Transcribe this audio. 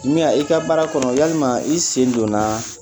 Miya i ka baara kɔnɔ yalima i sen donnaaa